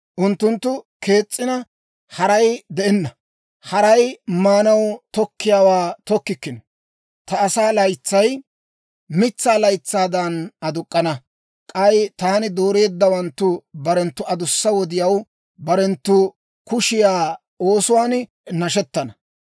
Unttunttu kees'ina, haray de'enna; haray maanaw tokkiyaawaa tokkikkino. Ta asaa laytsay mitsaa laytsaadan aduk'k'ana; k'ay taani dooreeddawanttu barenttu adussa wodiyaw barenttu kushiyaa oosuwaan nashettana.